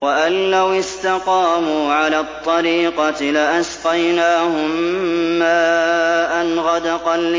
وَأَن لَّوِ اسْتَقَامُوا عَلَى الطَّرِيقَةِ لَأَسْقَيْنَاهُم مَّاءً غَدَقًا